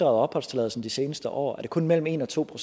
opholdstilladelsen de seneste år er det kun mellem en og to